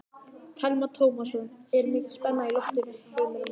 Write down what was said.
Telma Tómasson: Er mikil spenna í loftinu Heimir Már?